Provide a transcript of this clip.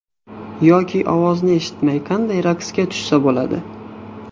Yoki ovozni eshitmay qanday raqsga tushsa bo‘ladi?